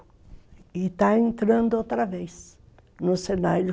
E está entrando outra vez no cenário.